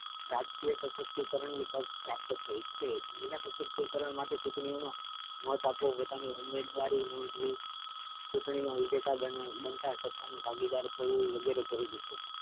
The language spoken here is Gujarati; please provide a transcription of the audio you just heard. રાજકીય સશક્તિકરણ ની તક પ્રાપ્ત થઇ છે મહિલા સશક્તિકરણ માટે ચૂંટણીયોમા મત આપો પોતાની ઉમેદવારી નોંધવી ચૂંટણી મા વિજેતા બનતા સત્તા મા ભાગેદારી થવું વગેરે જરૂરી છે.